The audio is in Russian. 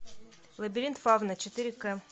лабиринт фавна четыре к